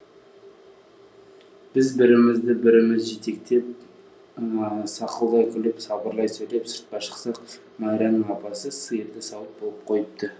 біз бірімізді біріміз жетектеп сақылдай күліп сыбырлай сөйлеп сыртқа шықсақ майраның апасы сиырды сауып болып қойыпты